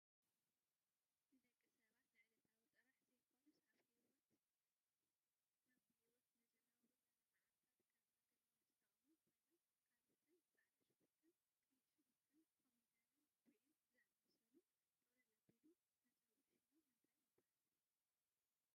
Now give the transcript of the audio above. ንደቂ ሰባት ንዕለታዊ ጥራሕ ዘይኮኑስ ኣብ ብሂወት ንዝነብሩለን ማዕልታት ከም ምግብነት ዝጠቅሙ ኮይኖም ካሮትን ፃዕዳ ሽጉርተን ቀይሕ ሽጉርትንኮሚደረን ጉዕን ዝኣመሰሉ ጥቅልል ኣቢሉ መፀውዒ ሽሞም ምን ይብሃል?